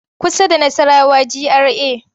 Kusa da Nassarawa GRA.